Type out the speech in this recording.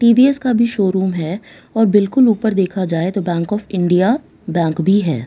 T_ V S का भी showroom है और बिल्कुल ऊपर देखा जाए तो बैंक ऑफ इंडिया बैंक भी है।